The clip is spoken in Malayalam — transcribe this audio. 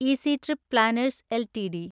easy trip planners LTD